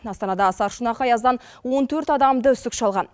астанада сарышұнақ аяздан он төрт адамды үсік шалған